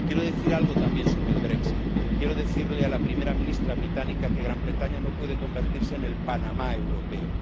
Quiero decir algo también sobre el brexit Quiero decirle a la primera ministra británica que Gran Bretaña no puede convertirse en el Panamá europeo